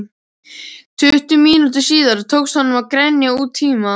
Tuttugu mínútum síðar tókst honum að grenja út tíma